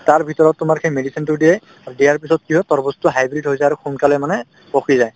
তাৰভিতৰত তোমাৰ সেই medicine তো দিয়ে আৰু দিয়াৰ পিছত কি হয় তৰমুজটো hybrid হৈ যায় আৰু সোনকালে মানে পকি যায়